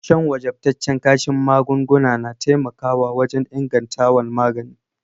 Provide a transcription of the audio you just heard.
San wajabtacen kashin magunguna na taimaka wajen ingantawan magani.